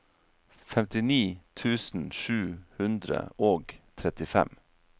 femtini tusen sju hundre og trettifem